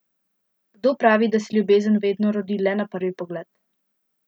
Kdo pravi, da se ljubezen vedno rodi le na prvi pogled?